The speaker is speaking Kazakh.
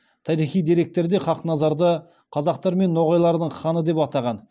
тарихи деректерде хақназарды қазақтар мен ноғайлардың ханы деп атаған